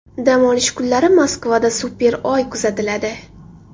Dam olish kunlari Moskvada super Oy kuzatiladi.